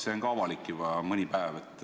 See on juba mõni päev avalik olnud.